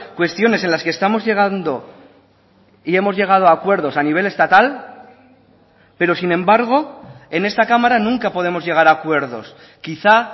cuestiones en las que estamos llegando y hemos llegado a acuerdos a nivel estatal pero sin embargo en esta cámara nunca podemos llegar a acuerdos quizá